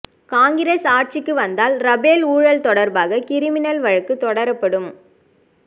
காங்கிரஸ் ஆட்சிக்கு வந்தால் ரபேல் ஊழல் தொடர்பாக கிரிமினல் வழக்கு தொடரப்படும்